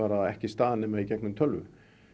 ekki stað nema í gegnum tölvu